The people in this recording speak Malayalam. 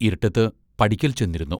ഇരുട്ടത്ത് പടിക്കൽ ചെന്നിരുന്നു...